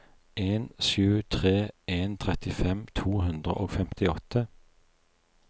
en sju tre en trettifem to hundre og femtiåtte